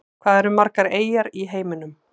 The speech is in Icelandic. Hvað eru margar eyjar í heiminum?